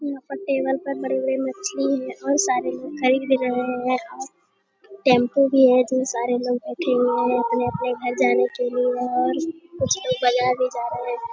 यहाँ पर टेबल पर बड़े-बड़े मछली हैं और सारे लोग खरीद भी रहें हैं और टेंपो भी है जिसमें सारे लोग बैठे हुए हैं अपने-अपने घर जाने के लिए और कुछ लोग बाजार भी जा रहें हैं |